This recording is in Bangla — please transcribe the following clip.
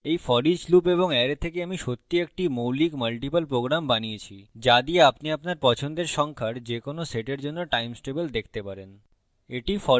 এই foreach loop এবং অ্যারে থেকে আমি সত্যিই একটি মৌলিক multiple program বানিয়েছি so দিয়ে আপনি আপনার পছন্দের সংখ্যার যে কোন set জন্য times table দেখতে পারেন